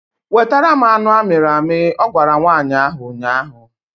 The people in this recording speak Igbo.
Wetara m anụ amịrị amị! Ọ gwara nwaanyị ahụ ụnyaahụ